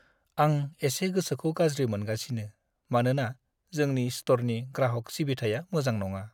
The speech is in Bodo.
आं एसे गोसोखौ गाज्रि मोनगासिनो मानोना जोंनि स्टरनि ग्राहक सिबिथाया मोजां नङा।